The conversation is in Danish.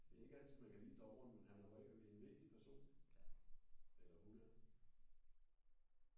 Det er ikke altid man kan lide dommeren men han er normalt en vigtig person eller hun er